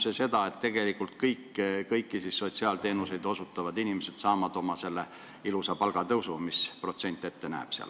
Või saavad tegelikult kõik sotsiaalteenuseid osutavad inimesed ilusa palgatõusu, nagu see protsent ette näeb?